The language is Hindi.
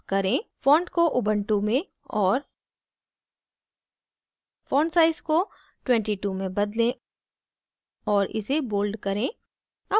font को ubuntu में और font size को 22 में bold और इसे bold करें